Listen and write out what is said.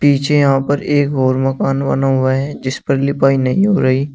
पीछे यहां पर एक और मकान बना हुआ हैं जिस पर लिपाई नहीं हो रही--